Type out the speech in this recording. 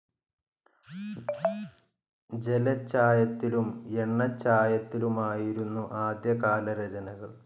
ജലച്ചായത്തിലും എണ്ണച്ചായത്തിലുമായിരുന്നു ആദ്യകാല രചനകൾ.